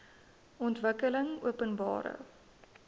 ontwikkelingopenbare